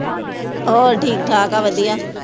ਹੋਰ ਠੀਕ ਠਾਕ ਆ ਵਧੀਆ